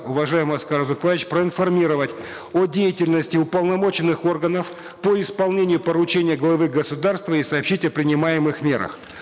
уважаемый аскар узакбаевич проинформировать о деятельности уполномоченных органов по исполнению поручения главы государства и сообщить о принимаемых мерах